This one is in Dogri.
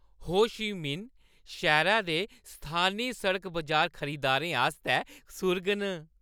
हो ची मिन्ह शैह्‌रै दे स्थानी सड़क-बजार खरीदारें आस्तै सुर्ग न।